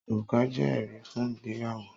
Òrùka jé èrí fún ìgbéyàwó